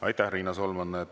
Aitäh, Riina Solman!